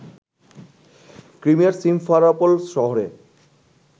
ক্রিমিয়ার Simferopol শহরে